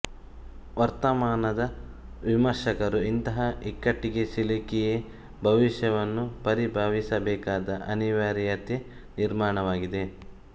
ವರ್ತಮಾನದ ವಿಮರ್ಶಕರು ಇಂತಹ ಇಕ್ಕಟ್ಟಿಗೆ ಸಿಲುಕಿಯೇ ಭವಿಷ್ಯವನ್ನು ಪರಿಭಾವಿಸಬೇಕಾದ ಅನಿವಾರ್ಯತೆ ನಿರ್ಮಾಣವಾಗಿದೆ